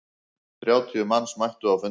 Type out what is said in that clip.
Þrjátíu manns mættu á fundinn.